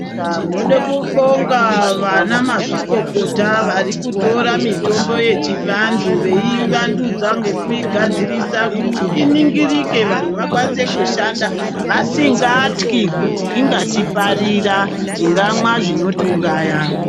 Tinoda kubonga anamazvikokota ava varikutora mutombo yechvandu veivandudza ngekuigadzirisa iningirike vanhu vakwanise kushanda vasngatyi kuti ingati parira tingamwa zvingatiuraya